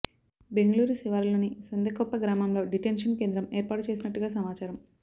బెంగళూరు శివారులోని సొందెకొప్ప గ్రామంలో డిటెన్షన్ కేంద్రం ఏర్పాటు చేసినట్టుగా సమాచారం